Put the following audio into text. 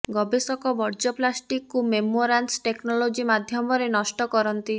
ଗବେଷକ ବର୍ଜ୍ୟ ପ୍ଲାଷ୍ଟିକକୁ ମେମ୍ବରାନ୍ସ ଟେକ୍ନୋଲୋଜି ମାଧ୍ୟମରେ ନଷ୍ଟ କରନ୍ତି